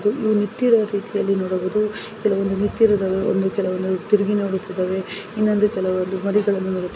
ತಿರುಗಿ ನೋಡಿತಿವೆ ಇನೊಂದು ಕೆಲವು ಮರಿ